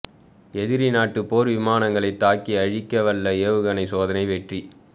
எதிரி நாட்டு போா் விமானங்களைத் தாக்கி அழிக்கவல்ல ஏவுகணை சோதனை வெற்றி